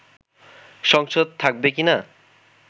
সংসদ থাকবে কিনা